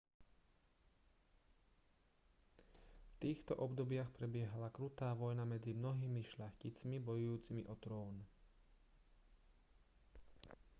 v týchto obdobiach prebiehala krutá vojna medzi mnohými šľachticmi bojujúcimi o trón